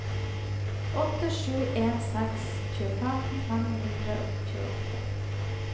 åtte sju en seks tjuefem fem hundre og tjueåtte